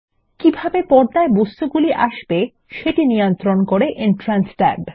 কিভাবে পর্দায় বস্তুগুলি আসবে সেটি নিয়ন্ত্রণ করে এন্ট্রান্স ট্যাব